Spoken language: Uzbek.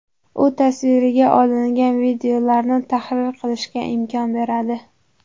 U tasvirga olingan videolarni tahrir qilishga imkon beradi.